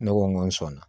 Ne ko n ko sɔnna